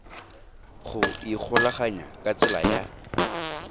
go ikgolaganya ka tsela ya